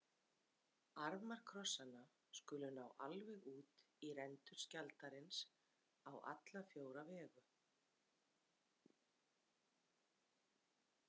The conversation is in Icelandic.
Armar krossanna skulu ná alveg út í rendur skjaldarins á alla fjóra vegu.